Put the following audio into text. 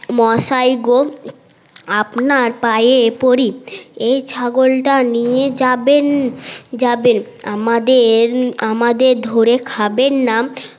মসাই গো আপনার পায়ে পরি এই ছাগল টা নিয়ে যাবেন যাবেন আমাদের ধরে খাবেন না